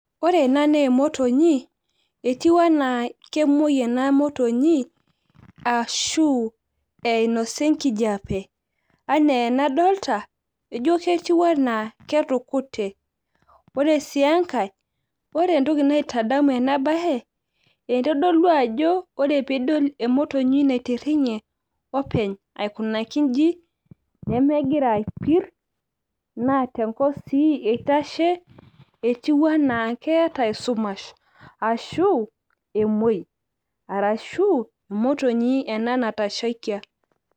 ore ena naa emotonyi. etiu anaa kemuoi ena motonyi ashu inosa enkijiape. anaa enadoolta ijo ketiu anaa ketukute. ore sii enkae ore entoki naitdamu ena bae eitodolu ajo ore pee idol emotonyi naitiringe openy aikunaki iji nemeigira aipir. naa tenkop sii eitashe, etiu anaa keeta esumsh, arashu emuoi, arashu emotonye ena natashaikia.